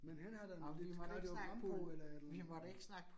Men han har da noget hvad var det Rambo eller et eller andet